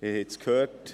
Wir haben es gehört: